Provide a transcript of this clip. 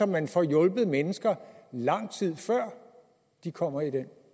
man får hjulpet mennesker lang tid før de kommer i den